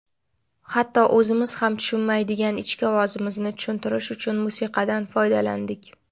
"Hatto o‘zimiz ham tushunmaydigan ichki ovozimizni tushuntirish uchun musiqadan foydalandik.".